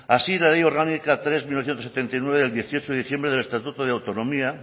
así la ley orgánica tres barra mil novecientos setenta y nueve del dieciocho de diciembre del estatuto de autonomía